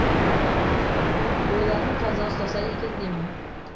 бойларын таза ұстаса екен деймін